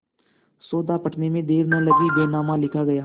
सौदा पटने में देर न लगी बैनामा लिखा गया